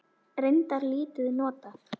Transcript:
Reyndar lítið notað.